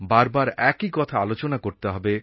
বার বার একই কথা আলোচনা করতে হবে